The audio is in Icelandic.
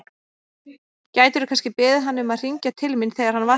Gætirðu kannski beðið hann um að hringja til mín þegar hann vaknar?